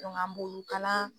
an b'olu kalan